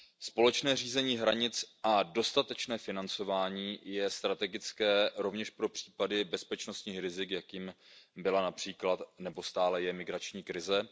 Společné řízení hranic a dostatečné financování je strategické rovněž pro případy bezpečnostních rizik, jakým byla například nebo stále je migrační krize.